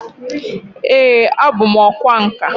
Ee, abu m ọkwá nkà